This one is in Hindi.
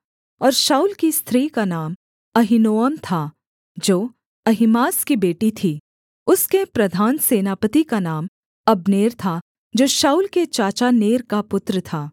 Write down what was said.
और शाऊल की स्त्री का नाम अहीनोअम था जो अहीमास की बेटी थी उसके प्रधान सेनापति का नाम अब्नेर था जो शाऊल के चाचा नेर का पुत्र था